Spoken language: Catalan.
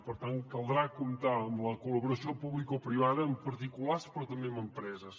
per tant caldrà comptar amb la col·laboració publicoprivada amb particulars però també amb empreses